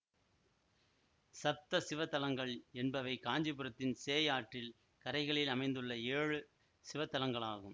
சப்த சிவத் தலங்கள் என்பவை காஞ்சிபுரத்தின் சேய் ஆற்றில் கரைகளில் அமைந்துள்ள ஏழு சிவத்தலங்களாகும்